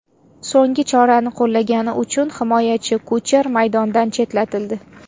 So‘nggi chorani qo‘llagani uchun himoyachi Kucher maydondan chetlatildi.